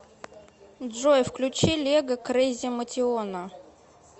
джой включи лего крейзи мотиона